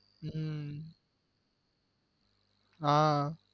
உம் ஆஹ்